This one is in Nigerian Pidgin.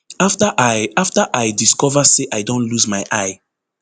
afta i afta i discover say i don lose my eye